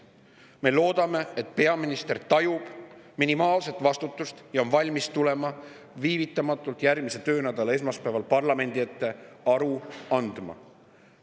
Me loodame, et peaminister tajub minimaalseltki vastutust ja on valmis tulema viivitamatult järgmise töönädala esmaspäeval parlamendi ette aru andma.